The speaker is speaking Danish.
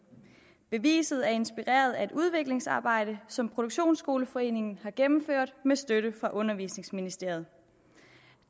beviset er inspireret af et udviklingsarbejde som produktionsskoleforeningen har gennemført med støtte fra undervisningsministeren